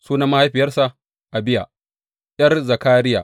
Sunan mahaifiyarsa Abiya ’yar Zakariya.